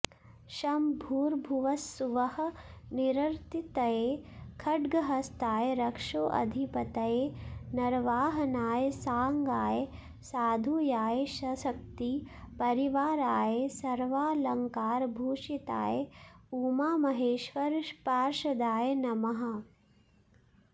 षं भूर्भुवस्सुवः निरृतये खड्गहस्ताय रक्षोऽधिपतये नरवाहनाय सांगाय सायुधाय सशक्ति परिवाराय सर्वालंकारभूषिताय उमामहेश्वर पार्षदाय नमः